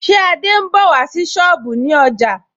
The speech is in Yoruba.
Ṣé Adé ń bọ̀ wá sí sọ́ọ̀bù ní ọjà